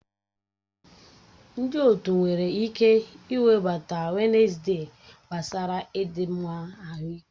Ndị otu nwere ike iwebata Wednesde gbasara ịdị mma ahụike.